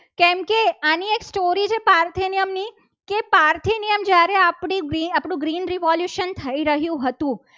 આજે એક story છે. પાર્થ નિયમની કે પારખી નિયમ જ્યારે આપણું green revolution થઈ રહ્યું હતું.